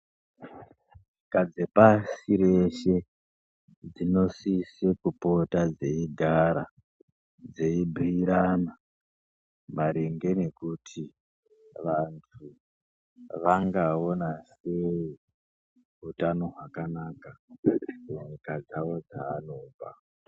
Nyika dzepasi reshe dzinosise kupota dzeigara dzeibhiirana maringe nekuti vantu vangaona sei utano hwakanaka munyika dzawo dzaanobva.